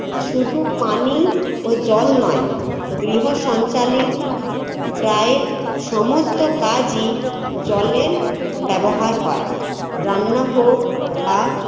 শুধু পানি ও জল নয় গৃহ সঞ্চালির প্রায় সমস্ত কাজই জলের ব্যবহার হয় রান্না হোক বা